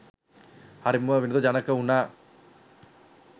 හරිම විනෝද ජනක උනා.